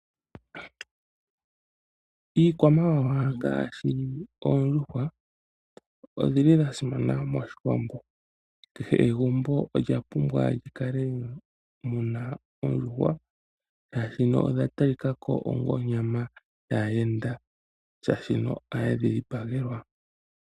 Iikwamawawa ngaashi oondjuhwa odhili dhasimana moshiwambo, kehe egumbo olya pumbwa li ka le muna oondjuhwa, shaashi no oya talika ko onga onyama yaayenda shaashi oha ye dhi dhipagelwa.